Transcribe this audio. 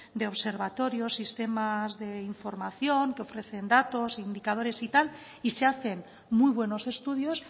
de observatorios sistemas de información que ofrecen datos indicadores y tal y se hacen muy buenos estudios